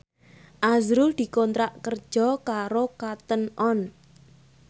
azrul dikontrak kerja karo Cotton On